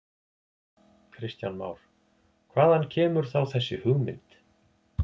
Kristján Már: Hvaðan kemur þá þessi hugmynd?